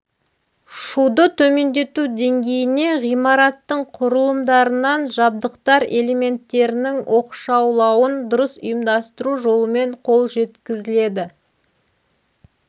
шуды төмендету деңгейіне ғимараттың құрылымдарынан жабдықтар элементтерінің оқшаулауын дұрыс ұйымдастыру жолымен қол жеткізіледі